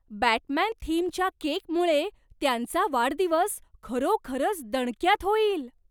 Batman थीमच्या केकमुळे त्यांचा वाढदिवस खरोखरच दणक्यात होईल!